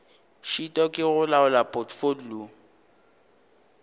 šitwa ke go laola potfolio